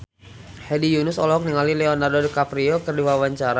Hedi Yunus olohok ningali Leonardo DiCaprio keur diwawancara